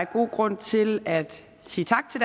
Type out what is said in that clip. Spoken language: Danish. god grund til at sige tak til